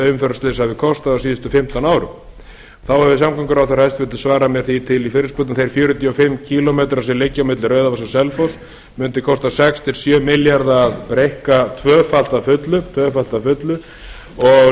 umferðarslys hafi kostað á síðustu fimmtán árum þá hefur hæstvirtur samgönguráðherra svarað mér því til í fyrirspurnum að þeir fjörutíu og fimm kílómetra sem liggja á milli rauðavatns og selfoss mundu kosta sex til sjö milljarða að breikka tvöfalt að fullu og rökin fyrir því